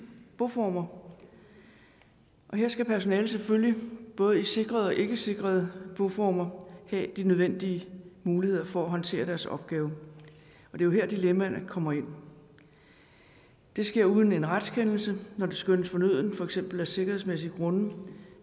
boformer og her skal personalet selvfølgelig både i sikrede og ikkesikrede boformer have de nødvendige muligheder for at håndtere deres opgave det er her dilemmaerne kommer ind det sker uden en retskendelse når det skønnes fornødent for eksempel af sikkerhedsmæssige grunde